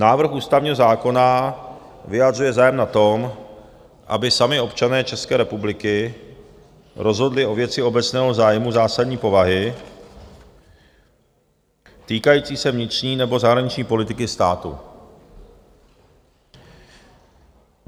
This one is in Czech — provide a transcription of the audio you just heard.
Návrh ústavního zákona vyjadřuje zájem na tom, aby sami občané České republiky rozhodli o věci obecného zájmu zásadní povahy týkající se vnitřní nebo zahraniční politiky státu.